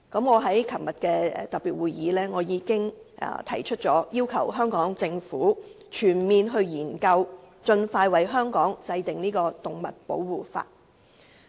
我在昨天舉行的特別會議上，已要求香港政府展開全面研究，盡快為香港制定動物保護法例。